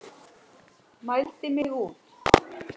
Mældi mig út.